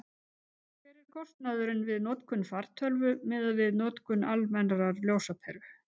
hver er kostnaðurinn við notkun fartölvu miðað við notkun almennrar ljósaperu